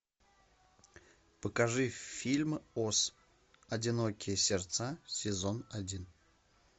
покажи фильм ос одинокие сердца сезон один